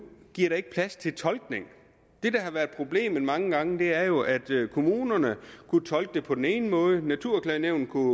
giver det ikke plads til tolkning det der har været problemet mange gange er jo at kommunerne kunne tolke det på den ene måde og naturklagenævnet kunne